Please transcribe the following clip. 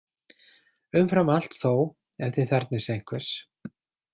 Umfram allt þó ef þið þarfnist einhvers.